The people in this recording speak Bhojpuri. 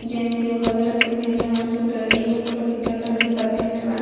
जेंट्स हरे रंग के पेहेनले बारन स्वेटर येहो फोटो खींचातारन जूता पेहेनले बारन।